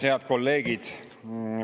Head kolleegid!